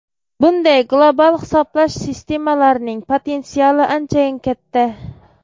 Bunday global hisoblash sistemalarining potensiali anchayin katta.